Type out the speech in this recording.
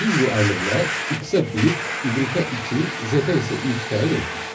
Biz bu əmrlə x-ə 1, y-ə 2, z-ə isə 3 təyin etdik.